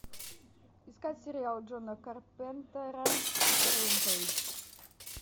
искать сериал джона карпентера рэмпейдж